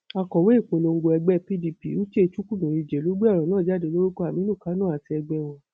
akọwé ìpolongo ẹgbẹ pdp uche chukwumerijẹ ló gbé ọrọ náà jáde lórúkọ aminu kánò àti ẹgbẹ wọn